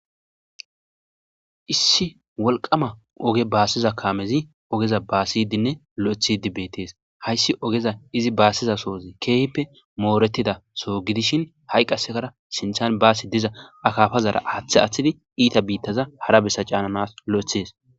issi wolqama oge baasiza kaamezi ogeza baasidinne lo7ethidi beetees hayssi ogeza izi baassiza soozi keehppe mooretida soo gidishin ha7i qassekara sinthan baasi diza akafazara aaththe aththidi iita biittaza hara bessa caananas lo7ethes